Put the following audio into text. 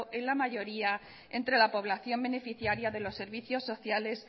en la mayoría entre la población beneficiaria de los servicios sociales